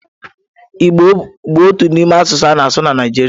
Igbo bụ otu n'ime asụsụ a na-asụ na Naịjirịa.